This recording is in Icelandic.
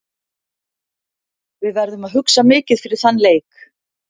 Við verðum að hugsa mikið fyrir þann leik.